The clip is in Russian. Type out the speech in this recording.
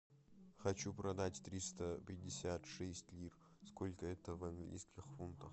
хочу продать триста пятьдесят шесть лир сколько это в английских фунтах